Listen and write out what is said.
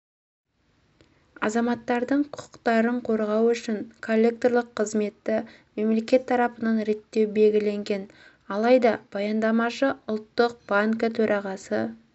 азаматтардың құқықтарын қорғау үшін коллекторлық қызметті мемлекет тарапынан реттеу белгіленген алайда баяндамашы ұлттық банкі төрағасы